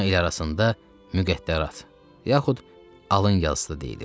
Buna el arasında müqəddərat yaxud alın yazısı deyilir.